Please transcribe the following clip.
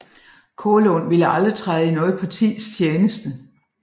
Kaalund ville aldrig træde i noget partis tjeneste